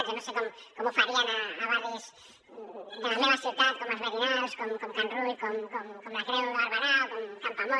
jo no sé com ho farien a barris de la meva ciutat com els merinals com can rull com la creu de barberà o campoamor